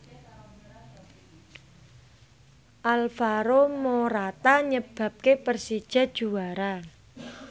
Alvaro Morata nyebabke Persija juara